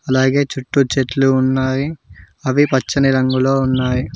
అలాగే చుట్టూ చెట్లు ఉన్నాయి అవి పచ్చని రంగులో ఉన్నాయి.